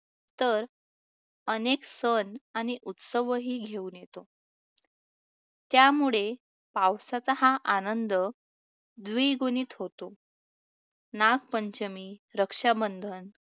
तर अनेक सण आणि उत्सवही घेऊन येतो, त्यामुळे पावसाचा हा आनंद द्विगुणीत होतो. नागपंचमी, रक्षाबंधन,